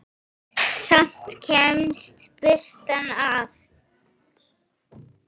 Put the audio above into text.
Samt kemst birtan að.